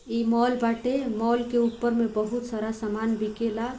ई मॉल बाटे मॉल के ऊपर मे बहुत सारा सामान बिकेला।